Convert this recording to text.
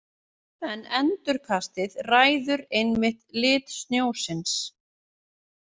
En endurkastið ræður einmitt lit snjósins.